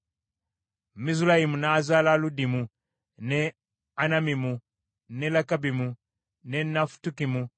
Mizulayimu n’azaala Ludimu, ne Anamimu, ne Lekabimu, ne Nafutukimu;